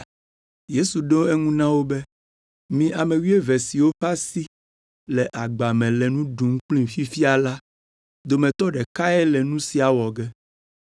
Yesu ɖo eŋu na wo be, “Mi ame wuieve siwo ƒe asi le agba me le nu ɖum kplim fifia la dometɔ ɖekae le nu sia wɔ ge.